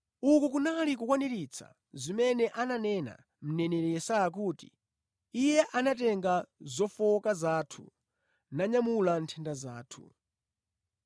Uku kunali kukwaniritsa zimene ananena mneneri Yesaya kuti, “Iye anatenga zofowoka zathu, nanyamula nthenda zathu.”